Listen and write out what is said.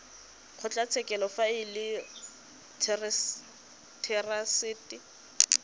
kgotlatshekelo fa e le therasete